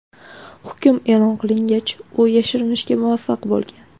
Hukm e’lon qilingach, u yashirinishga muvaffaq bo‘lgan.